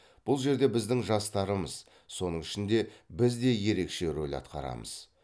бұл жерде біздің жастарымыз соның ішінде біз де ерекше рөл атқарамыз